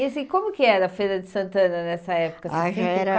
E assim, como que era a Feira de Santana nessa época? Ah era